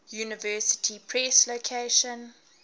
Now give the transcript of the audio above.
university press location